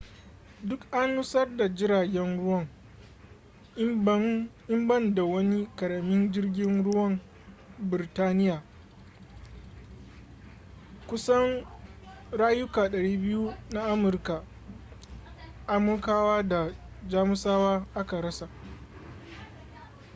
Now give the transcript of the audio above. duk an nutsar da jiragen ruwan in ban da wani ƙaramin jirgin ruwan birtaniya kusan rayuka 200 na amurkawa da jamusawa aka rasa